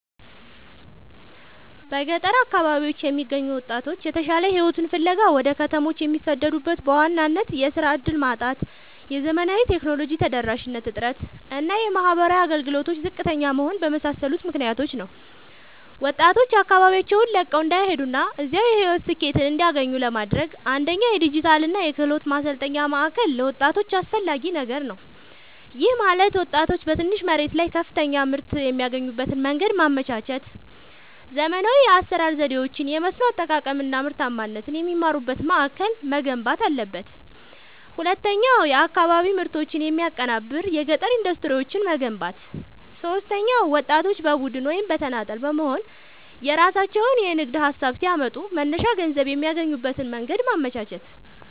በገጠር አካባቢዎች የሚገኙ ወጣቶች የተሻለ ሕይወትን ፍለጋ ወደ ከተሞች የሚሰደዱት በዋናነት የሥራ ዕድል ማጣት፣ የዘመናዊ ቴክኖሎጂ ተደራሽነት እጥረት እና የማኅበራዊ አገልግሎቶች ዝቅተኛ መሆን በመሳሰሉ ምክኒያቶች ነው። ወጣቶች አካባቢያቸውን ለቀው እንዳይሄዱና እዚያው የሕይወት ስኬትን እንዲያገኙ ለማድረግ፣ አንደኛ የዲጂታልና የክህሎት ማሠልጠኛ ማእከል ለወጣቶች አስፈላጊ ነገር ነው። ይህም ማለት ወጣቶች በትንሽ መሬት ላይ ከፍተኛ ምርት የሚያገኙበትን መንገድ ማመቻቸት፣ ዘመናዊ የአሠራር ዘዴዎችን፣ የመስኖ አጠቃቀም አናምርታማነትን የሚማሩበት ማእከል መገንባት አለበት። ሁለተኛው የአካባቢ ምርቶችን የሚያቀናብር የገጠር ኢንዱስትሪዎችን መገንባት። ሦስተኛው ወጣቶች በቡድን ወይም በተናጠል በመሆንየራሣቸውን የንግድ ሀሳብ ሲያመጡ መነሻ ገንዘብ የሚያገኙበትን መንገድ ማመቻቸት።